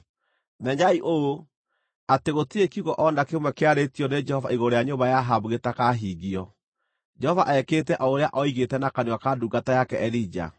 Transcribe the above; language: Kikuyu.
Menyai ũũ, atĩ gũtirĩ kiugo o na kĩmwe kĩarĩtio nĩ Jehova igũrũ rĩa nyũmba ya Ahabu gĩtakahingio. Jehova ekĩte o ũrĩa oigĩte na kanua ka ndungata yake Elija.”